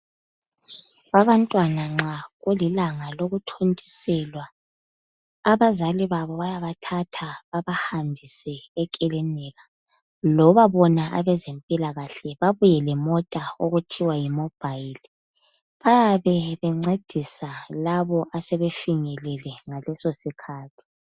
Abantwan nxa kulilanga lokuthintiswelwa, abazali labo bayabthatha babahambise ekilinika. Loma bona abezemphilakahle babuye lemotha ukuthiwa yimobhayili. Babe be ncedise labo asebefinyelele ngaleso sikhathi.